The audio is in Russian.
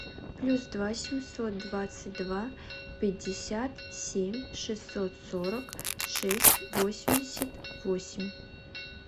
плюс два семьсот двадцать два пятьдесят семь шестьсот сорок шесть восемьдесят восемь